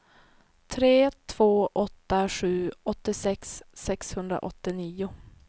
tre två åtta sju åttiosex sexhundraåttionio